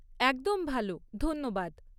একদম ভাল, ধন্যবাদ।